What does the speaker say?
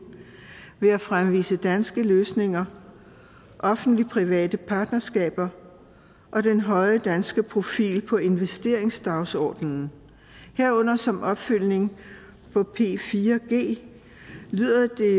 ved at fremvise danske løsninger offentlig private partnerskaber og den høje danske profil på investeringsdagsordenen herunder som opfølgning på p4g lyder det